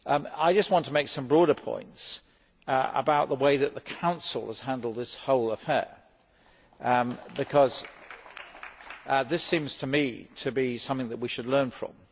I just want to make some broader points about the way that the Council has handled this whole affair, because this seems to me to be something that we should learn from.